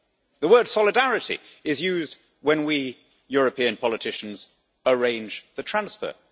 The word solidarity' is used when we European politicians arrange a transfer.